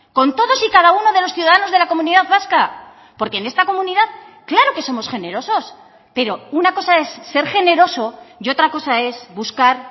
con todos y cada uno de los ciudadanos de la comunidad vasca porque en esta comunidad claro que somos generosos pero una cosa es ser generoso y otra cosa es buscar